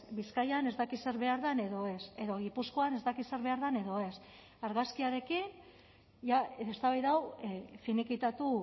bizkaian ez dakit zer behar den edo ez edo gipuzkoan ez dakit zer behar den edo ez argazkiarekin ja eztabaida hau finikitatu